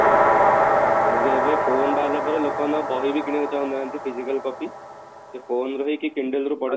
ଏବେ phone ବାହାରିଲା ପରେ ଲୋକ ମାନେ ଆଉ ବହି ବି କିଣିବାକୁ ଚାହୁଁ ନାହାନ୍ତି physical copy ସେ phone ଧରିକି candle ରେ ପଢା